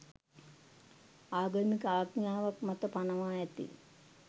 ආගමික ආඥාවක් මත පනවා ඇති